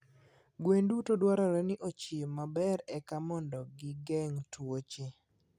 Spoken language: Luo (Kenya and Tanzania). Gwen duto dwarore ni ochiem maber eka mondo gi geng' tuoche.